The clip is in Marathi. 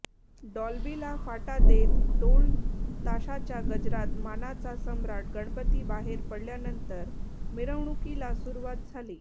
डॉल्बीला फाटा देत डोल ताशाच्या गजरात मानाचा सम्राट गणपती बाहेर पडल्यानंतर मिरवणुकीला सुरुवात झाली